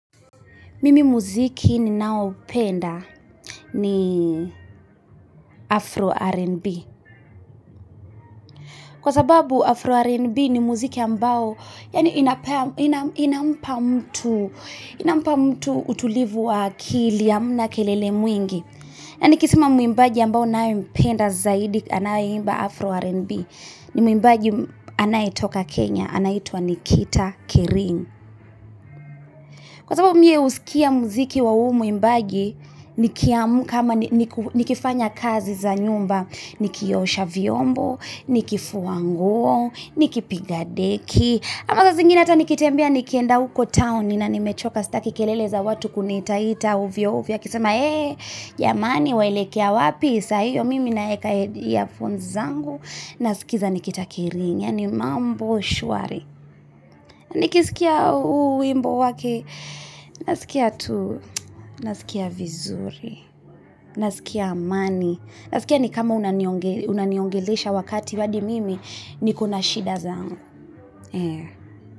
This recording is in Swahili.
Mimi muziki ninaopenda ni Afro R&B kwa sababu Afro R&B ni muziki ambao yani inampa mtu utulivu wa akili hamna kelele mwingi na niki sema mwimbaji ambao nayempenda zaidi anaye imba Afro R&B ni muimbaji anaye toka Kenya ana itwa Nikita Kering kwa sababu mie huskia muziki wa huu mwimbaji nikiamka niki fanya kazi za nyumba nikiosha vyombo niki fua nguo niki pigadeki ama saa zingine ata nikitembea nikienda uko town na nimechoka staki kelele za watu kuniita ita ovyo ovyo akisama ee jamani waelekea wapi saa hiyo mimi na eka earphone zangu naskiza nikita kering yaani mambo shwari niki skia huu wimbo wake nasikia tu na skia vizuri na skia amani na skia nikama unaniongelesha wakati hadi mimi niko na shida zangu.